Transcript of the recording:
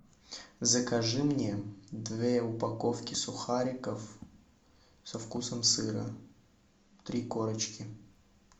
закажи мне две упаковки сухариков со вкусом сыра три корочки